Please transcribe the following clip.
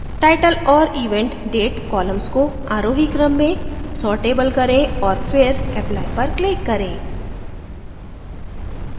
title और event date columns को आरोही क्रम में sortable करें और फिर apply पर click करें